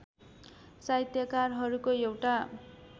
साहित्यकारहरूको एउटा